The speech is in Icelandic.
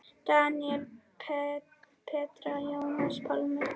Daníel, Petra, Jónas Pálmi.